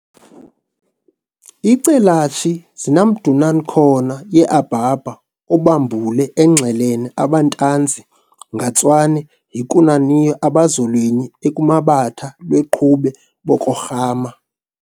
iCelatshi zinaMdun'nakhona yeAbaba oBambule engxelene, abantanzi ngatswane yikunaniyo abazolwenyi ekumabatha lweqhube bokorhama